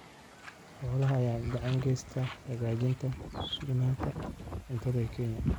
Xoolaha ayaa gacan ka geysta hagaajinta sugnaanta cuntada ee Kenya.